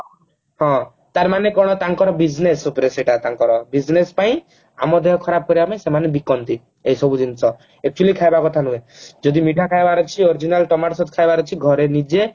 ତାର ମାନେ କଣ ତାଙ୍କର business ଉପରେ ସେଟା ତାଙ୍କର business ପାଇଁ ଆମ ଦେହ ଖରାପ ପାଇଁ ସେମାନେ ବିକନ୍ତି ଏସବୁ ଜିନିଷ actually ଖାଇବା କଥା ନୁହଁ ଯଦି ମିଠା ଖାଇବାର ଅଛି original ଟମାଟ Sause ଖାଇବାର ଅଛି ଘରେ ନିଜେ